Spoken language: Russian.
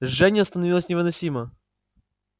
жжение становилось невыносимо